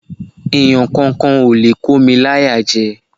Èèyàn kankan ò lè kó mi láyàjẹ